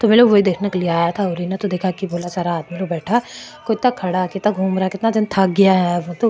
तो ये लोग वे देखने के लिए आया था किता जन थक गया है।